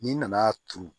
N'i nana turu